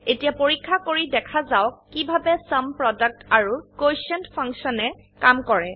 এতিয়া পৰীক্ষা কৰি দেখা যাওক কিভাবে চুম প্ৰডাক্ট আৰু কোটিয়েণ্ট ফাংশনে কাম কৰে